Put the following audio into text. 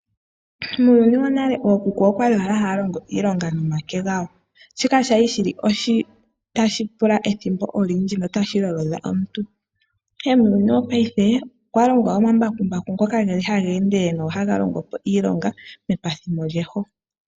Muuyuni wonale ookuku okwali owala haya longo iilonga nomake gawo. Shika oshali shili tashi pula ethimbo olindji, notashi lolodha omuntu. Ihe muuyuni wopaife, opwa longwa omambakumbu ngoka geli haga ende, nohaga longo po iilonga mepathimo lyeho.